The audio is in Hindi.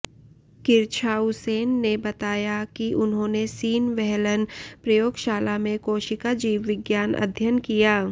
किरछाउसेन ने बताया कि उन्होंने सीन व्हेलन प्रयोगशाला में कोशिका जीवविज्ञान अध्ययन किया